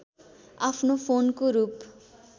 आफ्नो फोनको रूप